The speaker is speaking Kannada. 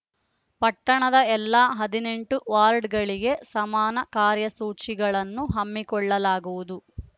ಪಟ್ಟಣದ ಎಲ್ಲಾ ಹದಿನೆಂಟು ವಾರ್ಡ್‌ಗಳಿಗೆ ಸಮಾನ ಕಾರ್ಯಸೂಚಿಗಳನ್ನು ಹಮ್ಮಿಕೊಳ್ಳಲಾಗುವುದು